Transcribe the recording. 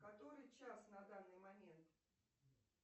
который час на данный момент